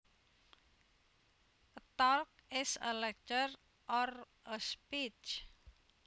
A talk is a lecture or a speech